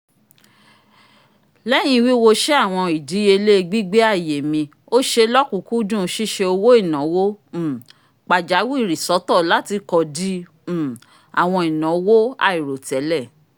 lẹyin wiwosé awọn idiyele gbigbe àyè mí o ṣe lọkunkundùn ṣiṣe owo-inawo um pajawiri sọtọ lati kọdì um àwọn ìnáwó airotẹlẹ